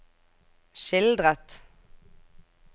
skildret